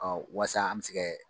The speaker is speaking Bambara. walasa an bɛ se kɛ